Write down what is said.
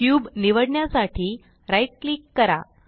cube निवडण्यासाठी right click करा